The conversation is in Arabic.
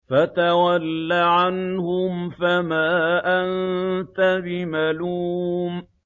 فَتَوَلَّ عَنْهُمْ فَمَا أَنتَ بِمَلُومٍ